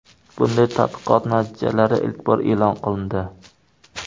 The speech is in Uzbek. Bunday tadqiqot natijalari ilk bor e’lon qilindi .